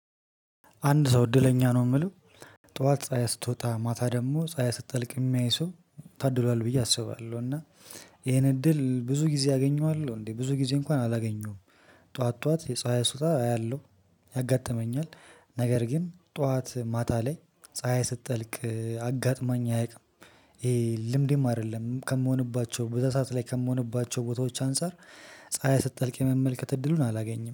አንድ ሰው እድለኛ ነው ምለው ጠዋት ፀሀይ ስትወጣ ማታ ደግሞ ፀሀይ ስትጠልቅ ሚያይ ሰው ታድሏል ብዬ አስባለሁ። እና ይሄን እድል ብዙ ጊዜ አገኘዋለሁ እንዴ ብዙ ጊዜ እንኳን አላገኘሁም። ጠዋት ጠዋት የፀሀይ ሱታ አያለሁ ያጋጥመኛል። ነገር ግን ጠዋት ማታ ላይ ፀሀይ ስጠልቅ አጋጥማኝ አያቅም። ይሄ ልምዴም አደለም ከምሆንባቸው በዛ ሰዓት ላይ ከምሆንባቸው ቦታዎች አንፃር ፀሀይ ስጠልቅ የመመልከት እድሉን አላገኝም